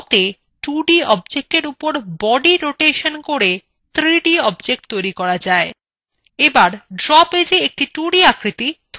drawতে 2d objectsএর উপর body rotation করে 3d objects তৈরী করা যায়